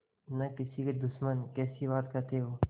न किसी के दुश्मन कैसी बात कहते हो